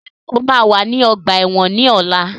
Ṣé o máa wà ní ọgbà ẹ̀wọ̀n ní ọ̀la?